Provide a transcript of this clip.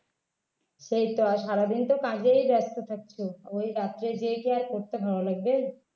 সেই তো আর সারাদিন কাজে ব্যস্ত থাকছো ওই রাত্রে গিয়ে কি পড়তে ভালো লাগবে